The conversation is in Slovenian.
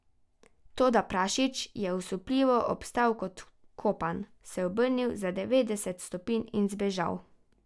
Toda prašič je, osupljivo, obstal kot vkopan, se obrnil za devetdeset stopinj in zbežal.